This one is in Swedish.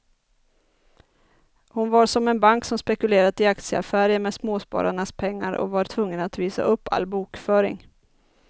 Hon var som en bank som spekulerat i aktieaffärer med småspararnas pengar och var tvungen att visa upp all bokföring.